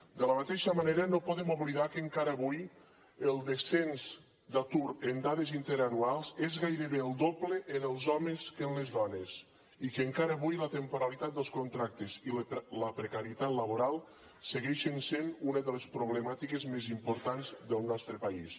de la mateixa manera no podem oblidar que encara avui el descens d’atur en dades interanuals és gairebé el doble en els homes que en les dones i que encara avui la temporalitat dels contractes i la precarietat laboral segueixen sent una de les problemàtiques més importants del nostre país